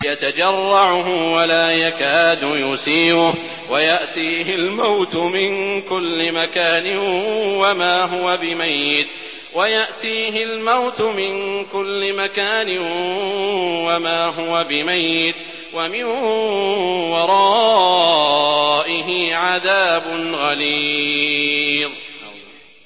يَتَجَرَّعُهُ وَلَا يَكَادُ يُسِيغُهُ وَيَأْتِيهِ الْمَوْتُ مِن كُلِّ مَكَانٍ وَمَا هُوَ بِمَيِّتٍ ۖ وَمِن وَرَائِهِ عَذَابٌ غَلِيظٌ